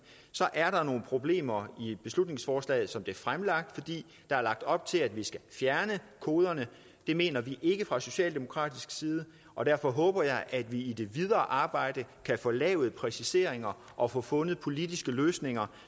så er der nogle problemer i beslutningsforslaget som det er fremlagt fordi der er lagt op til at vi skal fjerne koderne det mener vi ikke fra socialdemokratisk side og derfor håber jeg at vi i det videre arbejde kan få lavet præciseringer og få fundet politiske løsninger